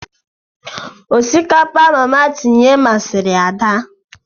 Osikapa mama tinye masịrị Ada.